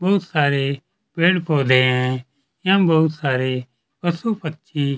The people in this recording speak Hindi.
बहुत सारे पेड़ पौधे है एवं बहुत सारे पशु -पक्षी --